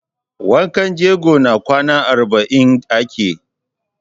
Wankan jego na kwana arba'in ake.